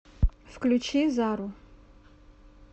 включи зару